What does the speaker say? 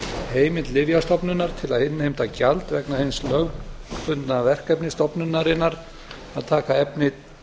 heimild lyfjastofnunar til að innheimta gjald vegna hins lögbundna verkefnis stofnunarinnar að taka efni